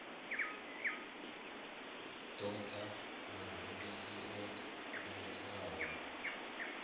ṱo ḓa murengisi o ṅwaliselwaho